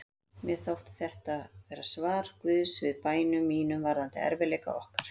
Mér þótti þetta vera svar Guðs við bænum mínum varðandi erfiðleika okkar.